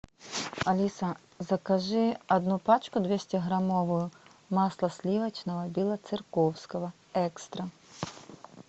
алиса закажи одну пачку двестиграммовую масла сливочного белоцерковского экстра